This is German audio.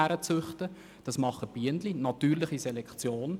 Das machen die Bienen, und es folgt der natürlichen Selektion.